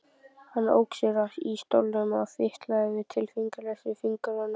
Hann ók sér í stólnum og fitlaði við tilfinningalausa fingurinn.